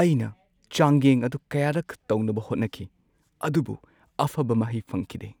ꯑꯩꯅ ꯆꯥꯡꯌꯦꯡ ꯑꯗꯨ ꯀꯌꯥꯔꯛ ꯇꯧꯅꯕ ꯍꯣꯠꯅꯈꯤ ꯑꯗꯨꯕꯨ ꯑꯐꯕ ꯃꯍꯩ ꯐꯪꯈꯤꯗꯦ꯫